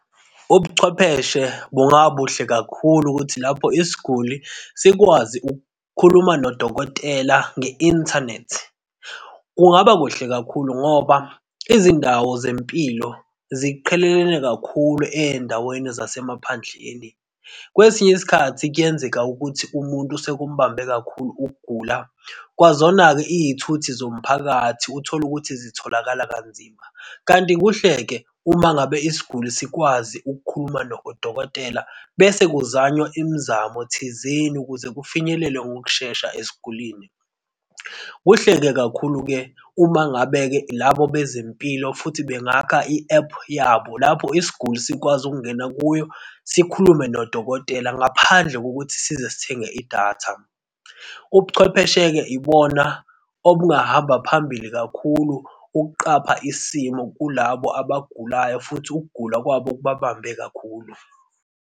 Ubuchwepheshe bunga kuhle kakhulu ukuthi lapho isiguli sikwazi ukukhuluma nodokotela nge-inthanethi. Kungaba kuhle kakhulu ngoba izindawo zempilo ziqhelelene kakhulu ezindaweni zasemaphandleni. Kwesinye isikhathi kuyenzeka ukuthi umuntu sekumbambe kakhulu ukugula, kwazona-ke izithuthi zomphakathi uthole ukuthi zitholakala kanzima. Kanti kuhle-ke uma ngabe isiguli sikwazi ukukhuluma nodokotela bese kuzanywa imizamo thizeni ukuze kufinyelelwe ngokushesha esigulini. Kuhle kakhulu-ke, uma ngabe-ke labo bezempilo futhi bangakha i-ephu yabo lapho isiguli sikwazi ukungena kuyo. Sikhulume nodokotela ngaphandle kokuthi size sithenge idatha. Ubuchwepheshe-ke ibona obungahamba phambili kakhulu, ukuqapha isimo kulabo abagulayo, futhi ukugula kwabo kubabambe kakhulu.